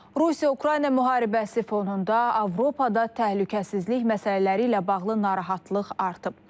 Rusiya-Ukrayna müharibəsi fonunda Avropada təhlükəsizlik məsələləri ilə bağlı narahatlıq artıb.